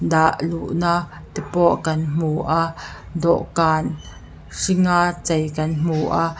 dah luhna te pawh kan hmu a dawhkan hringa chei kan hmu a.